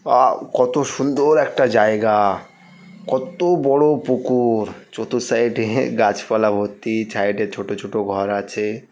Wow! কত সুন্দর একটা জায়গা-আ। কত বড়ো পুকু-উর। চতুর সাইড - এ গাছপালা ভর্তি। সাইড - এ ছোট ছোট ঘর আছে।